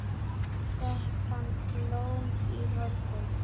Fékk hann blóm í morgun?